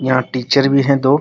यहाँ टीचर भी है दो --